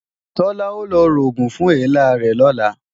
Tọ́lá ó lọ rògùn fún èélá rẹ̀ lọ̀la